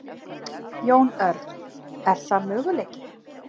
Jón Örn: Er það möguleiki?